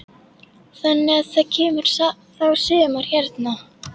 Þannig að það kemur þá sumar hérna.